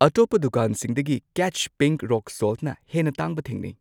ꯑꯇꯣꯞꯄ ꯗꯨꯀꯥꯟꯁꯤꯡꯗꯒꯤ ꯀꯦꯠꯆ ꯄꯤꯟꯛ ꯔꯣꯛ ꯁꯣꯜꯠꯅ ꯍꯦꯟꯅ ꯇꯥꯡꯕ ꯊꯦꯡꯅꯩ꯫